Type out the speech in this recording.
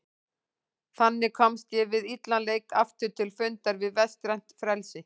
Þannig komst ég við illan leik aftur til fundar við vestrænt frelsi.